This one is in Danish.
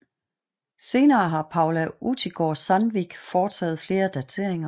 Senere har Paula Utigard Sandvik foretaget flere dateringer